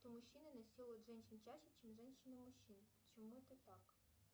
мужчины насилуют женщин чаще чем женщины мужчин почему это так